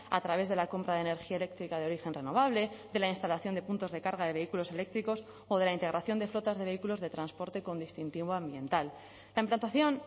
a través de la compra de energía eléctrica de origen renovable de la instalación de puntos de carga de vehículos eléctricos o de la integración de flotas de vehículos de transporte con distintivo ambiental la implantación